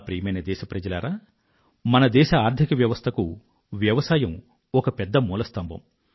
ప్రియమైన నా దేశ వాసులారా మన దేశ ఆర్థిక వ్యవస్థకు వ్యవసాయం ఒక పెద్ద మూలస్తంభం